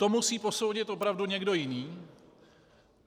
To musí posoudit opravdu někdo jiný.